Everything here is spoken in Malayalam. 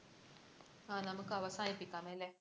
ആഹ് നമുക്ക് അവസാനിപ്പിക്കാം അല്ലെ?